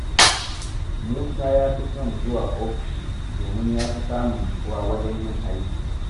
Musa ya fi son zuwa ofishi domin ya fi samun nutsuwa wajen yin aiki.